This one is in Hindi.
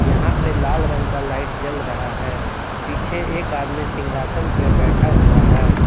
यहां पे लाल रंग का लाइट जल रहा है पीछे एक आदमी सिंहासन पे बैठा हुआ है।